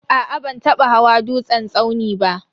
Aa ban taba hawa dutsen tsauni ba.